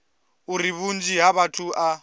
uri vhunzhi ha vhathu a